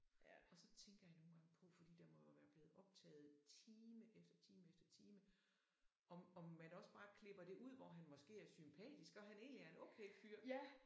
Ja og så tænker jeg nogle gange på fordi der må jo være blevet optaget time efter time efter time om om man også bare klipper det ud hvor han måske er sympatisk og han egentlig er en okay fyr